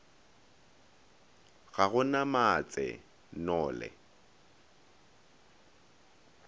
ga go na matse nole